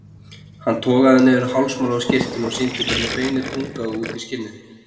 Hann togaði niður hálsmálið á skyrtunni og sýndi hvernig beinið bungaði út í skinnið.